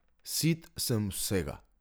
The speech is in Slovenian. Sit sem vsega!